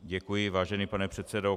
Děkuji, vážený pane předsedo.